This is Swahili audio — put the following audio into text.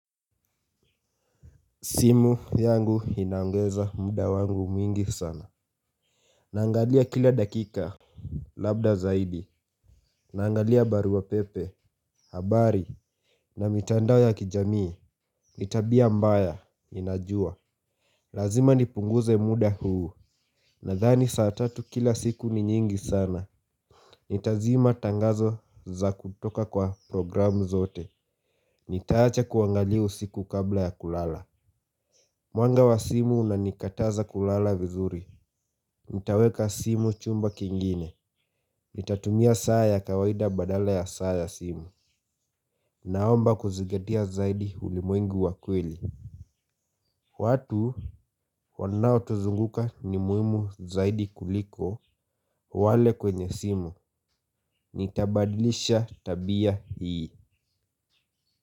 Simu yangu inaongeza muda wangu mwingi sana. Naangalia kila dakika, labda zaidi. Naangalia barua pepe habari na mitandao ya kijamii ni tabia mbaya ninajua. Lazima nipunguze muda huu. Nadhani saa tatu kila siku ni nyingi sana. Nitazima tangazo za kutoka kwa programu zote. Nitaacha kuangalia usiku kabla ya kulala. Mwanga wa simu unanikataza kulala vizuri. Nitaweka simu chumba kingine. Nitatumia saa ya kawaida badala ya saa ya simu. Naomba kuzigatia zaidi ulimwengu wa kweli. Watu wanaotuzunguka ni muhimu zaidi kuliko wale kwenye simu. Nitabadilisha tabia hii.